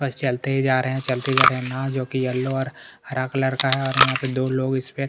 बस चलते ही जा रहै है चलते ही जा रहै है नाव जोकि येल्लो और हरा कलर का है और यहाँ पे दो लोग इसपे --